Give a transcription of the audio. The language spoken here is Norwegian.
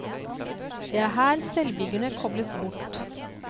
Det er her selvbyggerne kobles bort.